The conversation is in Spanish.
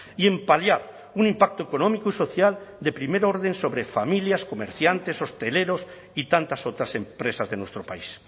y en paliar un impacto económico y social de primer orden sobre familias comerciantes hosteleros y tantas otras empresas de nuestro país